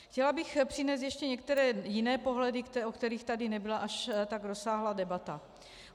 Chtěla bych přinést ještě některé jiné pohledy, o kterých tady nebyla až tak rozsáhlá debata.